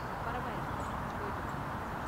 பரவாயில்லைங்க, போயிட்டு வாங்க!